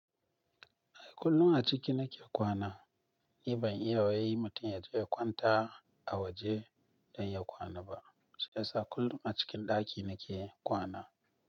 Ai kullum a ciki nake kwana. Ni ban iya wai mutum yaje ya kwanta a waje don ya kwana ba. Shiyasa kullum a cikin ɗaki nake kwana.